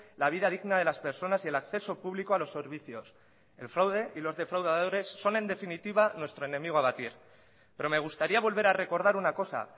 la vida digna de las personas y el acceso público a los servicios el fraude y los defraudadores son en definitiva nuestro enemigo a abatir pero me gustaría volver a recordar una cosa